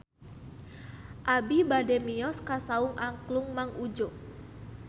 Abi bade mios ka Saung Angklung Mang Udjo